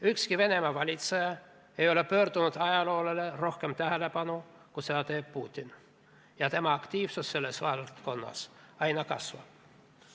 Ükski Venemaa valitseja ei ole pööranud ajaloole rohkem tähelepanu, kui seda teeb Putin, ja tema aktiivsus selles valdkonnas aina kasvab.